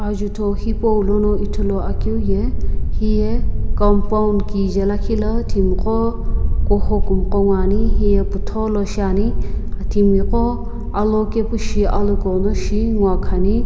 ajutho hipau lono ithuluakeu ye hiye compound kije lakhi la timiqo kuho kumoqo ngoani hiye putholo shiani timiqo alokepu shi alokhughuno ngoakhani.